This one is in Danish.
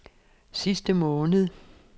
sidste måned